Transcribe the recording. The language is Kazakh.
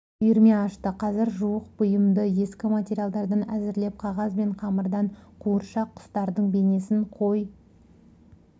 үйірме ашты қазір жуық бұйымды ескі материалдардан әзірлеп қағаз бен қамырдан қуыршақ құстардың бейнесін қой